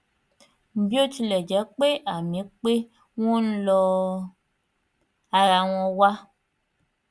bí ó tilẹ jẹ pé àmì pé wọn ń lọ ara wọn wà